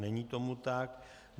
Není tomu tak.